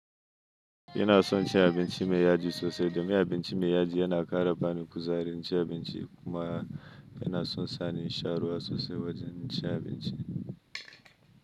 Ina son ci abinci mai yadi sosai, domin abinci mai yadi yana ƙara bani kuzari naci abinci kuma yana son sani in sha ruwa sosai wajen naci abinci.